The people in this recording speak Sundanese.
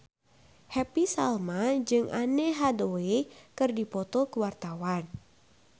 Happy Salma jeung Anne Hathaway keur dipoto ku wartawan